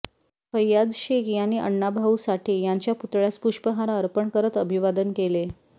फैयाज शेख यांनी आण्णा भाऊ साठे यांच्या पुतळ्यास पुष्पहार अर्पण करत अभिवादन केले